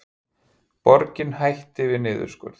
Borgin hætti við niðurskurð